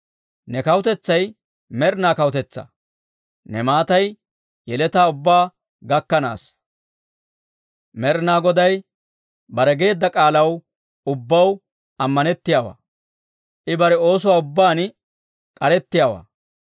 Ne kawutetsay med'inaa kawutetsaa; ne maatay yeletaa ubbaa gakkanaassa. Med'inaa Goday bare geedda k'aalaw ubbaw ammanettiyaawaa; I bare oosuwaa ubbaan k'arettiyaawaa.